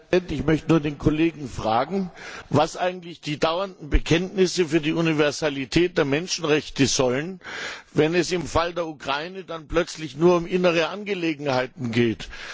Herr Präsident! Ich möchte nur den Kollegen fragen, was eigentlich die dauernden Bekenntnisse zur Universalität der Menschenrechte sollen, wenn es im Fall der Ukraine plötzlich nur um innere Angelegenheiten geht.